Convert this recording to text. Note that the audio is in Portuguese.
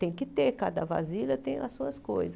Tem que ter, cada vasilha tem as suas coisas.